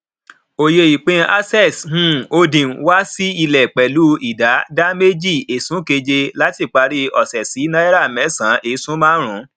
oyè ìpín access um holding wá sí ilé pẹlu idà dà méjì esun keje làti parí ose sì náírà mẹsan esun marun